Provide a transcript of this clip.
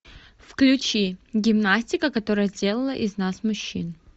включи гимнастика которая сделала из нас мужчин